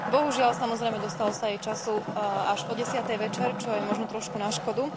Bohužiaľ, samozrejme, dostalo sa jej času až o desiatej večer, čo je možno trošku na škodu.